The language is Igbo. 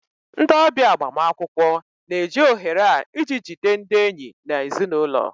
Ndị ọbịa agbamakwụkwọ na-eji ohere a iji jide ndị enyi na ezinụlọ